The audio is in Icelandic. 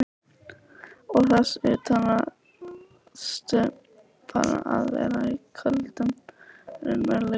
Og þess utan varðstu bara að vera í köldum raunveruleikanum.